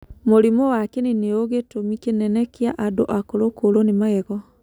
Mũrimũ wa kĩni nĩu gĩtũmi kĩnene kĩa andũ akũrũ kũũrũo nĩ magego.